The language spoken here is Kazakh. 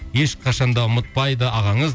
ешқашан да ұмытпайды ағаңыз